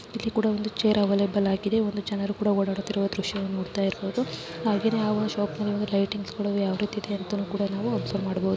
ಇಲ್ಲಿ ಕೂಡ ಒಂದು ಚೇರ್ ಅವೈಲಬಲ್ ಆಗಿದೆ ಒಂದು ಜನರು ಕೂಡ ಓಡಾಡುತಿರುವ